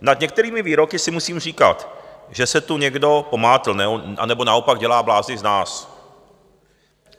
Nad některými výroky si musím říkat, že se tu někdo pomátl, anebo naopak dělá blázny z nás.